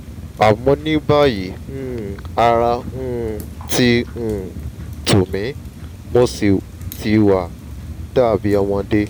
àmọ́ ní báyìí um ara um ti um tù mí mo sì ti wá dàbí ọmọdé